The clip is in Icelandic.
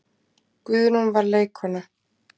Guðrún var leikkona.